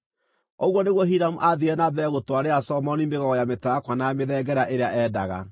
Ũguo nĩguo Hiramu aathiire na mbere gũtwarĩra Solomoni mĩgogo ya mĩtarakwa na ya mĩthengera ĩrĩa endaga.